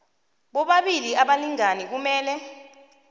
bobabili abalingani kumele